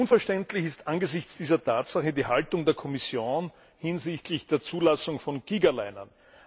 Unverständlich ist angesichts dieser Tatsache die Haltung der Kommission hinsichtlich der Zulassung von Gigalinern.